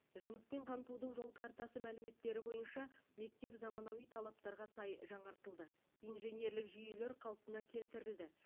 жұмыспен қамтудың жол картасы мәліметтері бойынша мектеп заманауи талаптарға сай жаңартылды инженерлік жүйелер қалпына келтірілді